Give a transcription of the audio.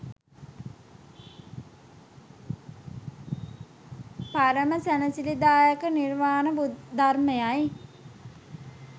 පරම සැනසිලිදායක නිර්වාණ ධර්මය යි